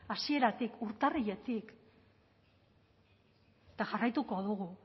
hasieratik urtarriletik eta jarraituko dugu